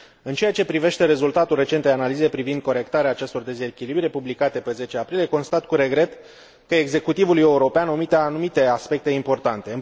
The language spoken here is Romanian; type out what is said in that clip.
În ceea ce privește rezultatul recentei analize privind corectarea acestor dezechilibre, publicate pe 10 aprilie, constat cu regret că executivul european omite anumite aspecte importante.